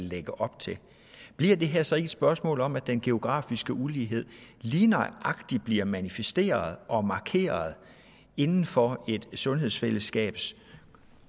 lægger op til bliver det her så ikke spørgsmål om at den geografiske ulighed lige nøjagtig bliver manifesteret og markeret inden for et sundhedsfællesskabs